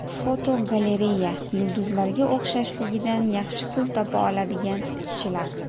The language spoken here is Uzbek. Fotogalereya: Yulduzlarga o‘xshashligidan yaxshi pul topa oladigan kishilar.